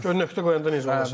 Gör nöqtə qoyanda necə olacaq.